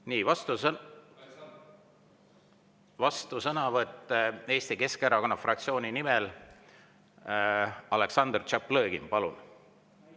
Nii, vastusõnavõtt Eesti Keskerakonna fraktsiooni nimel, Aleksandr Tšaplõgin, palun!